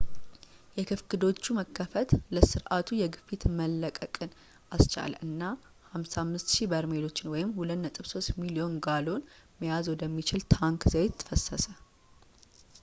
የክፍክዶቹ መከፈት ለስርዓቱ የግፊት መለቀቅን አስቻለ እና 55,000 በርሜሎችን 2.3 ሚሊዮን ጋሎን መያዝ ወደሚችል ታንክ ዘይት ፈሰሰ